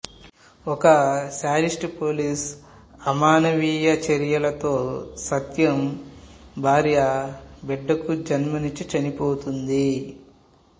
ఒక sadist police అమానవీయ చర్యలతో సత్యం భార్య బిడ్డకు జన్మ ఇచ్చి చనిపోతుంది